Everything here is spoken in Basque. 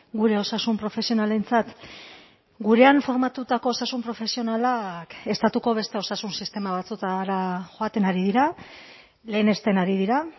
gure osasun profesionalentzat gurean formatutako osasun profesionalak estatuko beste osasun sistema batzuetara joaten ari dira lehenesten ari dira